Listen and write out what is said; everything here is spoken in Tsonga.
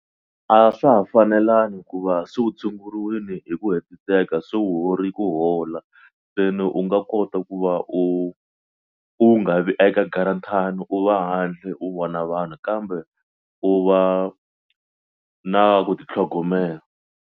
A swa ha fanelangi hikuva se u tshunguriwile hi ku hetiseka se u hori ku hola se ni u nga kota ku va u u nga vi eka u va handle u vona vanhu kambe u va na ku titlhogomela.